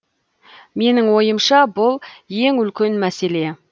менің ойымша бұл ең үлкен мәселе